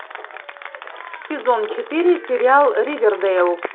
сезон четыре сериал ривердейл